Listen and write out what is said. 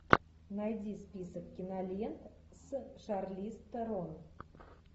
найди список кинолент с шарли стерон